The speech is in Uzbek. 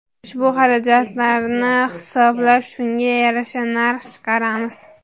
Ushbu xarajatlarni hisoblab shunga yarasha narx chiqaramiz.